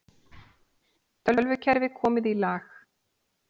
Tölvukerfi komið í lag